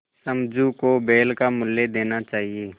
समझू को बैल का मूल्य देना चाहिए